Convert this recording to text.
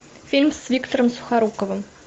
фильм с виктором сухоруковым